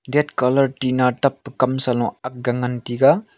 dat colour tina tap pe kam sa lo ak ga ngan tega.